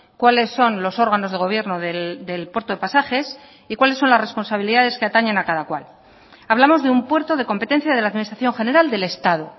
cuáles son los órganos de gobierno del puerto de pasajes y cuáles son las responsabilidades que atañen a cada cual hablamos de un puerto de competencia de la administración general del estado